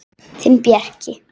Þinn Bjarki.